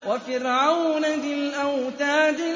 وَفِرْعَوْنَ ذِي الْأَوْتَادِ